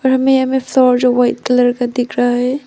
और हमें यहां मे शो जो व्हाइट कलर का दिख रहा है।